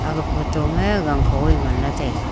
aga photo me gangkho ae ngan la taega.